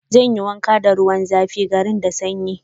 Zan yi wanka da ruwan zafi, garin da sanyi.